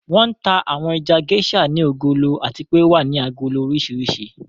Wọn tà àwọn ẹja Geisha ní ògólọ̀ àti pè o wà ní àgólò orísíríṣì.